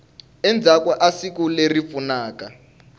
endzhaku ka siku leri pfunaka